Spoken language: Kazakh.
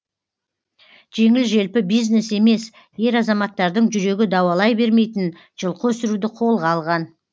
жеңіл желпі бизнес емес ер азаматтардың жүрегі дауалай бермейтін жылқы өсіруді қолға алған